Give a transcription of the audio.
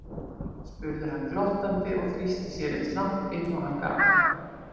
spurði hann glottandi og þrýsti sér eins langt inn og hann gat.